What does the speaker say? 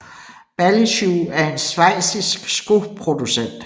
Bally Shoe er en schweizisk skoproducent